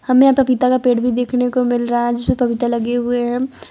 हमें पपीता का पेड़ भी देखने को मिल रहा है जिसमें पपीता लगे हुए हैं।